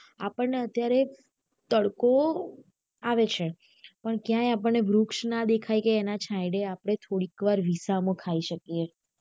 આપનને ને અત્યારે તડકો આવે છે પણ ક્યાંય આપન્ને ને વૃક્ષ ના દેખાઈ કે ના અને છાંયડા આપડે થોડો વિસામો ખાઈ શકીયે